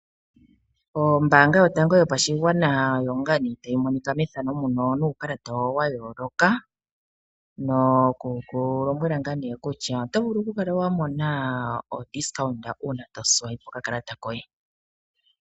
Ombaanga yotango yopashigwana oyo ngaa nee tayi monika methano muno nuukalata yooloka nokuku lombwela ngaa nee kutya oto vulu oku kala wa mona odiscount uuna wa swipe okakalata koye.